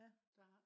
ja